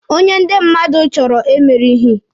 Onye ndi mmadụ chọrọ emerighi.